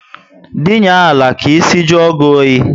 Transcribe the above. Dinye ala ka ísì juo gị oyi